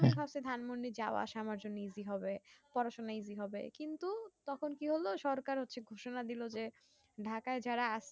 ধানমন্ডি যাওয়া আসা আমার জন্যে easy হবে পড়াশোনা easy হবে কিন্তু তখন কি হলো সরকার হচ্ছে ঘোষণা দিলো যে ঢাকাই এই যারা আসছে